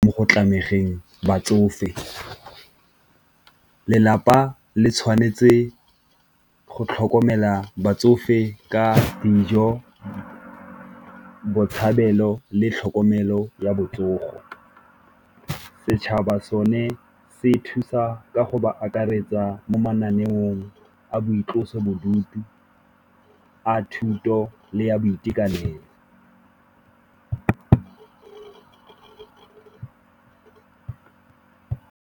Mo go tlameleng batsofe, lelapa le tshwanetse go tlhokomela batsofe ka dijo, botshabelo le tlhokomelo ya botsogo. Setšhaba sone se thusa ka go ba akaretsa mo mananeong a boitlosobodutu a thuto le ya boitekanelo.